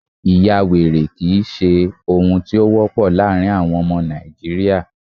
ìyawèrè kìí ṣe ohun tí o wọpọ laarin àwọn ọmọ Nàìjíría